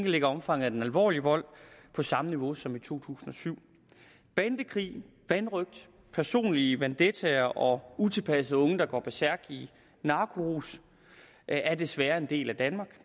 ligger omfanget af den alvorlige vold på samme niveau som i to tusind og syv bandekrig vanrøgt personlige vendettaer og utilpassede unge der går bersærk i narkorus er desværre en del af danmark